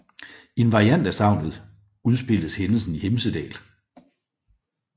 I en variant af sagnet udspilles hændelsen i Hemsedal